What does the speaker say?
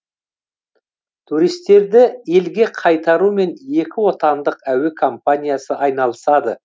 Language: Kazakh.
туристерді елге қайтарумен екі отандық әуе компаниясы айналысады